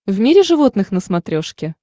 в мире животных на смотрешке